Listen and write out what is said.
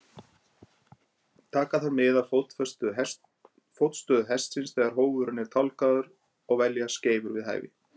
Taka þarf mið af fótstöðu hestsins þegar hófurinn er tálgaður og velja skeifur við hæfi.